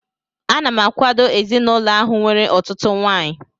Ana m akwado ezinaụlọ ahụ nwere ọtụtụ nwaanyị